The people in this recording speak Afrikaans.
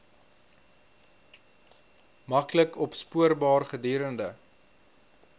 maklik opspoorbaar gedurende